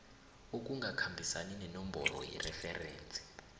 okungakhambisani nenomboro yereferensi